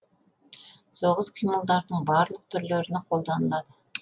соғыс қимылдарының барлық түрлеріне қолданылады